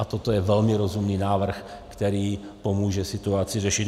A toto je velmi rozumný návrh, který pomůže situaci řešit.